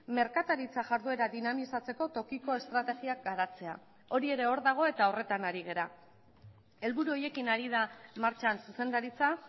merkataritza jarduera dinamizatzeko tokiko estrategiak garatzea hori ere hor dago eta horretan ari gara helburu horiekin ari da martxan zuzendaritza